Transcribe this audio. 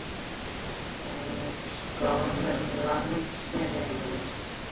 En í skólum landsins?